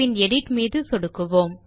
பின் edit மீது சொடுக்கவும்